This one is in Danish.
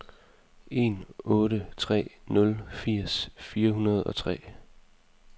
en otte tre nul firs fire hundrede og tre